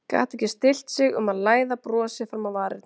Gat ekki stillt sig um að læða brosi fram á varirnar.